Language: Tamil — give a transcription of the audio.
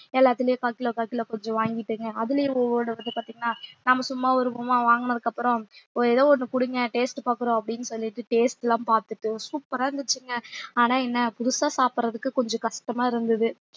எல்லாத்துலயும் கால் கிலோ கால் கிலோ கொஞ்சம் வாங்கிட்டுங்க அதுலயும் ஒவ்வொரு இது பார்த்தீங்கன்னா நாம சும்மா வருவோமா வாங்குனதுக்கு அப்புறம் ஒ~ ஏதோ ஒண்ணு குடுங்க taste பார்க்கிறோம் அப்படின்னு சொல்லிட்டு taste லாம் பார்த்துட்டு super ஆ இருந்துச்சுங்க ஆனா என்ன புதுசா சாப்பிடறதுக்கு கொஞ்சம் கஷ்டமா இருந்தது